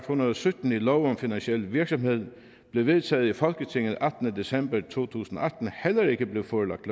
hundrede og sytten i lov om finansiel virksomhed der blev vedtaget i folketinget den attende december to tusind og atten heller ikke blev forelagt